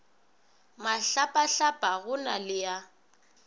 mahlapahlapa go na le a